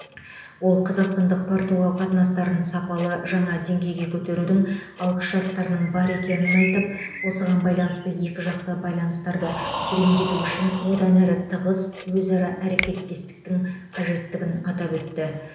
ол қазақстандық португал қатынастарын сапалы жаңа деңгейге көтерудің алғышарттарының бар екенін айтып осыған байланысты екіжақты байланыстарды тереңдету үшін одан әрі тығыз өзара әрекеттестіктің қажеттігін атап өтті